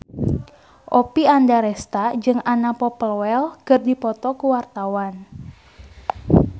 Oppie Andaresta jeung Anna Popplewell keur dipoto ku wartawan